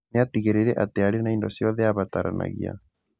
Nĩatigĩrĩire atĩ niarĩ na indo ciothe abataranagia